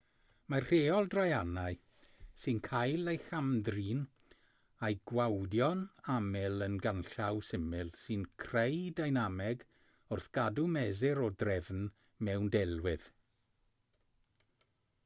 mae'r rheol draeanau sy'n cael ei cham-drin a'i gwawdio'n aml yn ganllaw syml sy'n creu deinameg wrth gadw mesur o drefn mewn delwedd